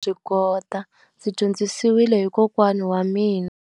ndzi dyondzisiwile hi kokwana wa mina.